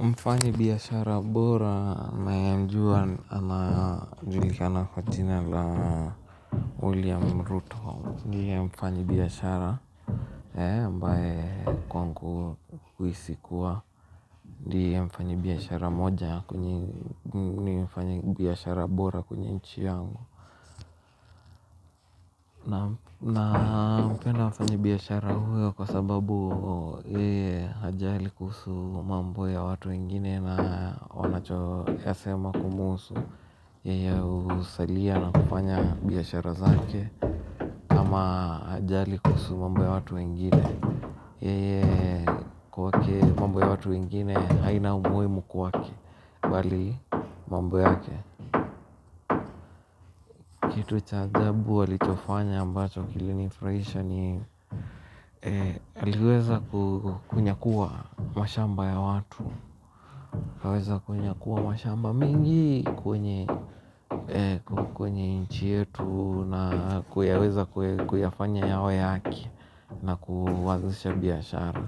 Mfanyabiashara bora nayemjua anajulikana kwa jina la William Ruto. Ndiye mfanyabiashara. Ambaye kwangu huhisi kuwa ndiye mfanyabiashara mmoja kati ya wafanyabiashara bora katika nchi yangu na nampenda mfanyabiashara huyo kwa sababu eee hajali kuhusu mambo ya watu wengine na wanachoyasema kumhusu yeye usalia na kufanya biashara zake ama hajali kuhusu mambo ya watu wengine yeye kwake mambo ya watu wengine haina umuhimu kwake, bali mambo yake, kitu cha jabu walichofanya ambacho kilinifurahisha ni aliweza kunyakua mashamba ya watu. Aliweza kunyakua mashamba mengi kwenye nchi yetu na kuweza kuyafanya yawe yake. Na kuwazusha biashara.